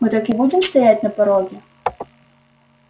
мы так и будем стоять на пороге